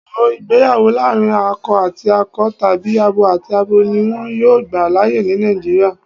Wòó, ìgbéyàwó láàrín akọ àti akọ tàbí abo àti abo ni wón yóò gbà láyè ni Nàìjíríà.